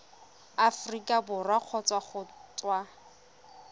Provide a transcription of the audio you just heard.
aforika borwa kgotsa go tswa